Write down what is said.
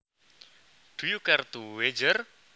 Do you care to wager